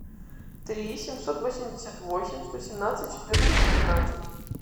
три семьсот восемьдесят восемь сто семнадцать четырнадцать тринадцать